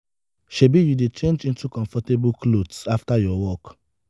shebi you dey change into into comfortable clothes after your work?